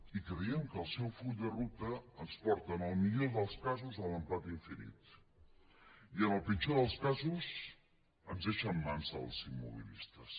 i creiem que el seu full de ruta ens porta en el millor del casos a l’empat infinit i en el pitjor dels casos ens deixa en mans dels immobilistes